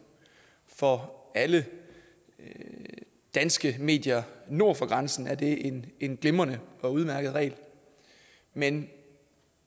for alle danske medier nord for grænsen er det en en glimrende og udmærket regel men